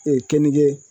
kenige